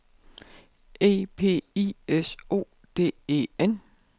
E P I S O D E N